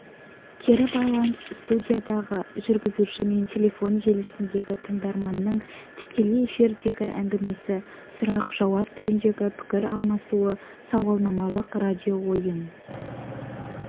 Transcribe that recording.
кері байланыс студиядағы жүргізуші мен телефон желісіндегі тыңдарманның тікелей эфирдегі әңгімесі сұрақ-жауап түріндегі пікір алмасуы сауалнамалық радиоойын